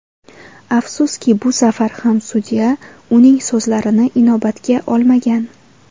Afsuski bu safar ham sudya uning so‘zlarini inobatga olmagan.